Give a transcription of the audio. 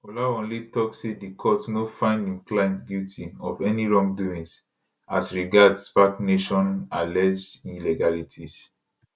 olawanle tok say di court no find im client guilty of any wrongdoings as regard spac nation alleged illegalities